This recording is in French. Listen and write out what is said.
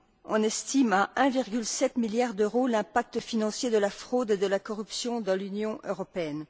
On estime à 1,7 milliard d'euros l'impact financier de la fraude et de la corruption dans l'Union européenne.